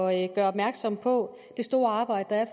at gøre opmærksom på det store arbejde der